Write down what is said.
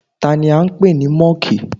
Tani án pè ní Mọ́ọ̀kì?